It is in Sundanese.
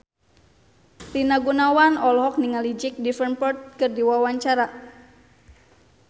Rina Gunawan olohok ningali Jack Davenport keur diwawancara